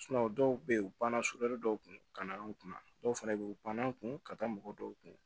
dɔw bɛ yen u banna dɔw kun ka na an kunna dɔw fana bɛ yen u banna an kun ka taa mɔgɔ dɔw kun